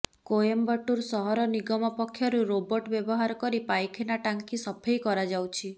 କୋଏମ୍ବାଟୁର ସହର ନିଗମ ପକ୍ଷରୁ ରୋବଟ ବ୍ୟବହାର କରି ପାଇଖାନା ଟାଙ୍କି ସଫେଇ କରାଯାଉଛି